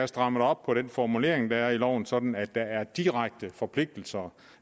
strammet op på den formulering der er i loven sådan at der er direkte forpligtelser